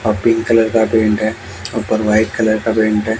Pink colour का paint है ऊपर व्हाइट कलर का पेंट है।